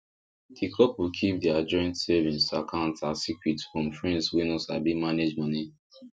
ki couple keep their joint savings account as secret from friends wey no sabi manage money